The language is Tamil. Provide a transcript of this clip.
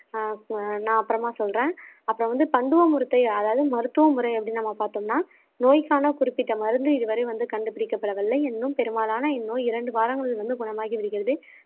நான் அப்புறமா சொல்றேன் அப்புறம் வந்து கந்துவ முருத்தை அதாவது மருத்துவ முறை அப்படின்னு நம்ம பார்த்தோம்னா நோய்க்கான குறிப்பிட்ட மருந்து இதுவரை வந்து கண்டுபிடிக்கப்படவில்லை இன்னும் பெரும்பாலான இந்நோய் இரண்டு வாரங்களில் வந்து குணமாகி விடுகிறது